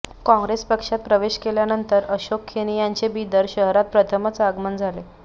काँग्रेस पक्षात प्रवेश केल्यानंतर अशोक खेणी यांचे बिदर शहरात प्रथमच आगमन झाले